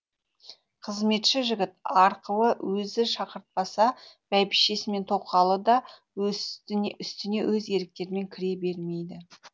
қызметші жігіт арқылы өзі шақыртпаса бәйбішесі мен тоқалы да үстіне өз еріктерімен кіре бермейді